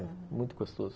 É muito gostoso.